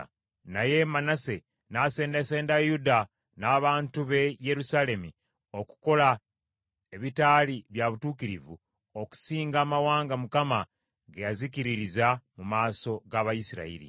Naye Manase n’asendasenda Yuda n’abantu b’e Yerusaalemi okukola ebitaali bya butuukirivu okusinga amawanga Mukama ge yazikiririza mu maaso g’Abayisirayiri.